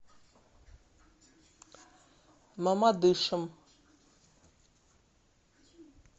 мамадышем